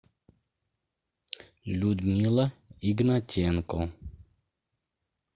людмила игнатенко